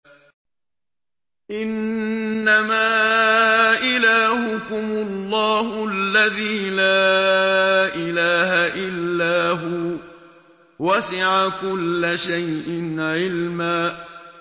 إِنَّمَا إِلَٰهُكُمُ اللَّهُ الَّذِي لَا إِلَٰهَ إِلَّا هُوَ ۚ وَسِعَ كُلَّ شَيْءٍ عِلْمًا